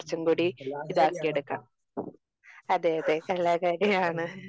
മ്മ്. കലാകാരിയാണ് അപ്പോൾ.